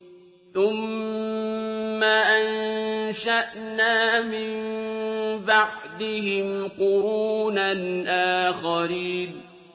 ثُمَّ أَنشَأْنَا مِن بَعْدِهِمْ قُرُونًا آخَرِينَ